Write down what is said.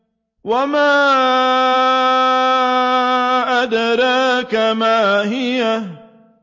وَمَا أَدْرَاكَ مَا هِيَهْ